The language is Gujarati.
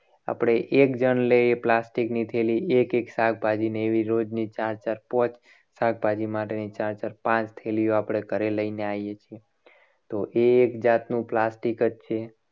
આપણે એક જણ લે. એ plastic ની થેલી એક એક શાકભાજીને એવી રોજની ચાર ચાર પાંચ શાકભાજી છેલ્લો આપણે ઘરે લઈને આવીએ છીએ. તો એ એક જાતનું plastic જ છે.